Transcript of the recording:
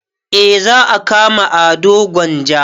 Eh za a kama ado gwanja